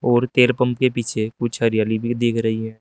और तेल पम्प के पीछे कुछ हरियाली भी दिख रही है।